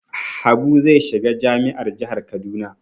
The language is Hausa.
Habu zai shiga jami'ar jihar Kaduna.